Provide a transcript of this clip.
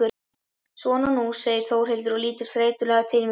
Svona nú, segir Þórhildur og lítur þreytulega til mín.